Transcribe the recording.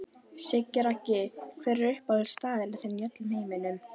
Siggi Raggi Hver er uppáhaldsstaðurinn þinn í öllum heiminum?